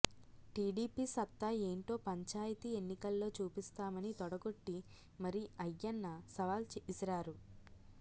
TDP సత్తా ఏంటో పంచాయతీ ఎన్నికల్లో చూపిస్తామని తోడగొట్టి మరి అయ్యన్న సవాల్ విసిరారు